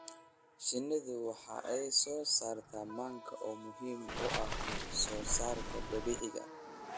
Shinidu waxa ay soo saartaa manka oo muhiim u ah wax soo saarka dabiiciga ah.